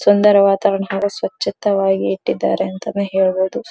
ಸುಂದರ ವಾತಾವರಣ ಹಾಗು ಸ್ವಚ್ಛತವಾಗಿ ಇಟ್ಟಿದ್ದಾರೆ ಅಂತಾನೂ ಹೇಳಬಹುದು.